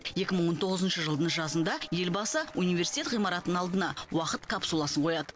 екі мың он тоғызыншы жылдың жазында елбасы университет ғимаратының алдына уақыт капсуласын қояды